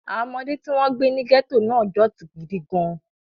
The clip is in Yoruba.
Àwọn ọmọdé tí wọ́n gbé ní gẹ́tò náà dọ̀tí gidi gan-an.